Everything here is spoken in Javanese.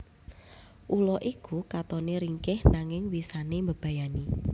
Ula iku katone ringkih nanging wisane mbebayani